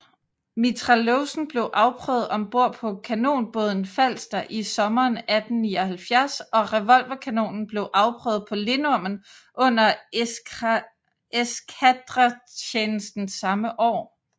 Mitrailleusen blev afprøvet ombord på kanonbåden Falster i sommeren 1879 og revolverkanonen blev afprøvet på Lindormen under eskadretjenesten samme år